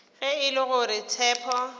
ge e le gore tshepo